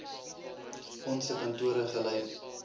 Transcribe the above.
onse kantore gelei